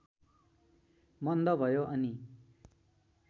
मन्द भयो अनि